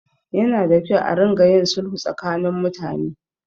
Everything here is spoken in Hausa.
Yana da kyau a ringa yin sulhu tsakanin mutane.